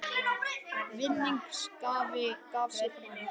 Vinningshafi gaf sig fram